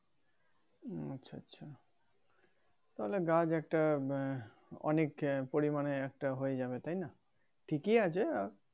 উম আচ্ছা আচ্ছা তাহলে গাছ একটা বা আহ অনেক পরিমানে একটা হয়ে যাবে তাইনা ঠিকই আছে আর